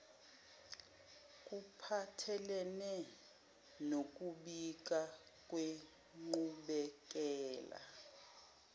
kuphathelene nokubika ngenqubekela